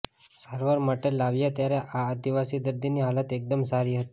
સારવાર માટે લાવ્યા ત્યારે આ આદિવાસી દર્દીની હાલત એકદમ સારી હતી